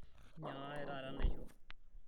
inyiangakaki taata enaisho